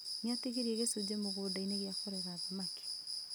Nĩatigirie gĩcunjĩ mũgũnda-inĩ gĩa kũrera thamaki